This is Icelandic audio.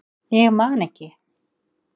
Ég man ekki